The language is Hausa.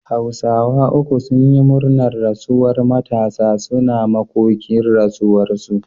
hausawa uku sunyi murnar rasuwar Matasa, suna makoki rasuwar su